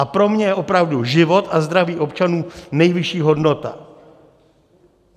A pro mě je opravdu život a zdraví občanů nejvyšší hodnota.